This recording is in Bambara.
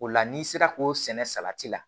O la n'i sera k'o sɛnɛ salati la